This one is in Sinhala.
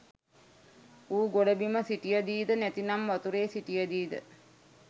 ඌ ගොඩබිම සිටියදීද නැතිනම් වතුරේ සිටියදීද